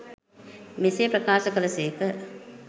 මෙසේ ප්‍රකාශ කළ සේක.